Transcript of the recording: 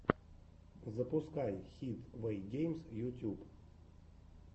запускай хид вэйгеймс ютьюб